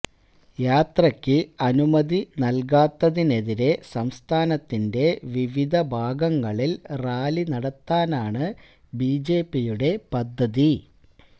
യാത്രയ്ക്ക് അനുമതി നല്കാത്തതിനെതിരെ സംസ്ഥാനത്തിന്റെ വിവിധ ഭാഗങ്ങളില് റാലി നടത്താനാണ് ബിജെപിയുടെ പദ്ധതി